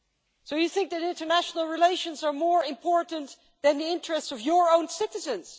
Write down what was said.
So you think that international relations are more important than the interests of your own citizens.